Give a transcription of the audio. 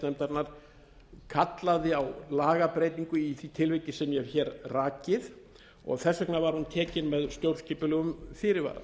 nefndarinnar kallaði á lagabreytingu í því tilviki sem ég hef hér rakið og þess vegna var hún tekin með stjórnskipulegum fyrirvara